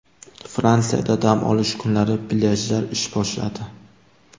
Fransiyada dam olish kunlari plyajlar ish boshladi.